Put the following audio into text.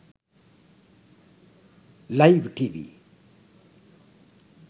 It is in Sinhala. live tv